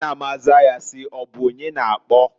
Nna m azaa ya si: "Ọbụ onye na-akpọ?".